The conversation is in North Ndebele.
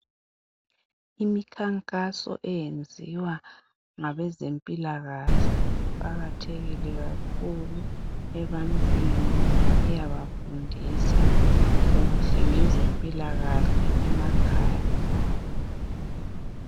Imikhankaso eyenziwa ngabezempilakahle iqakathekile kakhulu ebantwini ngoba iyabafundisa kuhle ngezempilakahle emakhaya abo.